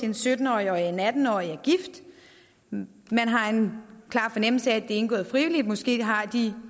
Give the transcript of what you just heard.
en sytten årig og en atten årig og man har en klar fornemmelse af er indgået frivilligt måske har de